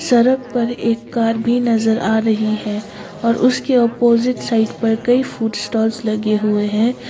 सड़क पर एक कार भी नजर आ रही है और उसके अपोजिट साइड पर कई फूड स्टॉल्स लगे हुए है।